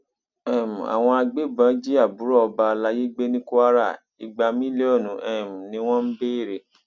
um àwọn agbébọn jí àbúrò ọba alayé gbé ní kwara igba mílíọnù um ni wọn ń béèrè